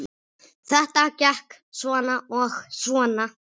Þetta gekk svona og svona.